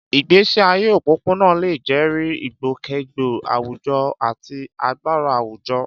Ìgbésí ayé òpópónà lè jẹ́rìí ìgbòkègbodò àwùjọ àti agbára àwùjọ.